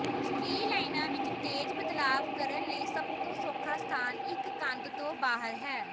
ਸਟ੍ਰੀਲਾਈਨਾਂ ਵਿੱਚ ਤੇਜ਼ ਬਦਲਾਵ ਕਰਨ ਲਈ ਸਭ ਤੋਂ ਸੌਖਾ ਸਥਾਨ ਇੱਕ ਕੰਧ ਤੋਂ ਬਾਹਰ ਹੈ